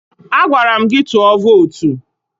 Agwara m gị tụọ vootu!